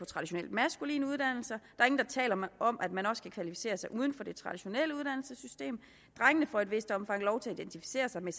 traditionelt maskuline uddannelser der taler om at man også kan kvalificere sig uden for det traditionelle uddannelsessystem drengene får i et vist omfang lov til at identificere sig med